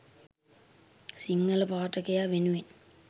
සිංහල පාඨකයා වෙනුවෙන්